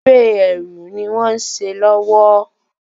Eré ẹrù ni wón se lówó